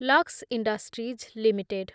Lux industries limited